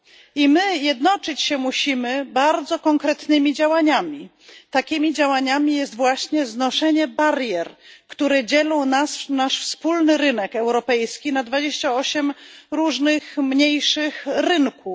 I my jednoczyć się musimy bardzo konkretnymi działaniami, takimi działaniami jest właśnie znoszenie barier, które dzielą nasz wspólny rynek europejski na 28 różnych mniejszych rynków.